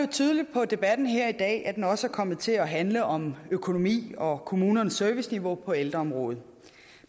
tydeligt på debatten her i dag at den også er kommet til at handle om økonomi og kommunernes serviceniveau på ældreområdet